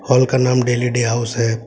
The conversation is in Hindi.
और उसका नाम डेली डे हाउस है।